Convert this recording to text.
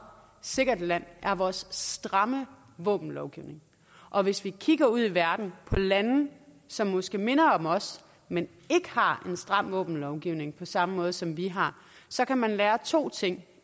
sikkert land er vores stramme våbenlovgivning og hvis vi kigger ud i verden på lande som måske minder om os men ikke har en stram våbenlovgivning på samme måde som vi har så kan man lære to ting